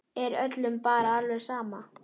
Er öllum bara alveg sama?